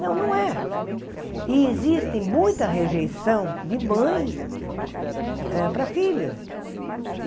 Não, não é. E existe muita rejeição de mãe eh para filho.